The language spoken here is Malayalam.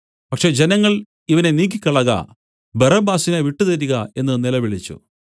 പക്ഷേ ജനങ്ങൾ ഇവനെ നീക്കിക്കളക ബറബ്ബാസിനെ വിട്ടുതരിക എന്നു നിലവിളിച്ചു